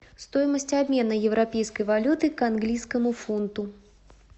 стоимость обмена европейской валюты к английскому фунту